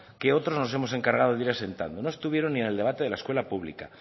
que otros nos hemos encargado de ir asentando no estuvieron ni el debate de la escuela pública